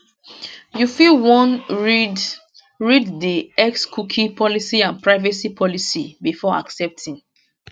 you fit wan read read di xcookie policyandprivacy policybefore accepting